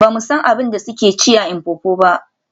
Ba mu san abin da suke ci a Mpopo ba.